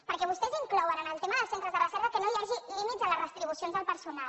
perquè vostès inclouen en el tema dels centres de recerca que no hi hagi límits en les retribucions del personal